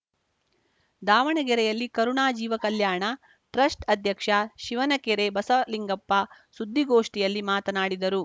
ದಾವಣಗೆರೆಯಲ್ಲಿ ಕರುಣಾ ಜೀವ ಕಲ್ಯಾಣ ಟ್ರಸ್ಟ್‌ ಅಧ್ಯಕ್ಷ ಶಿವನಕೆರೆ ಬಸವಲಿಂಗಪ್ಪ ಸುದ್ದಿಗೋಷ್ಠಿಯಲ್ಲಿ ಮಾತನಾಡಿದರು